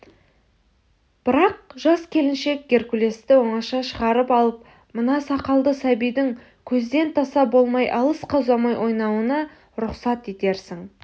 бірақ жас келіншек геркулесті оңаша шығарып алып мына сақалды сәбидің көзден таса болмай алысқа ұзамай ойнауына рұқсат етерсің